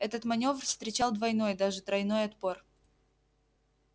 этот манёвр встречал двойной даже тройной отпор